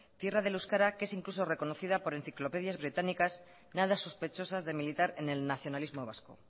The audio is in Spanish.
tierra del euskara que es incluso reconocida por enciclopedias británicas nada sospechosas de militar en el nacionalismo vasco